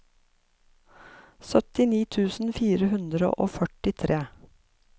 syttini tusen fire hundre og førtitre